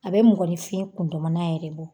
A bɛ mɔgɔnfin kundamana yɛrɛ bɔ